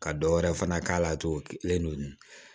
Ka dɔ wɛrɛ fana k'a la togo kelen don